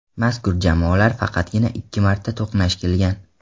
Mazkur jamoalar faqatgina ikki marta to‘qnash kelgan.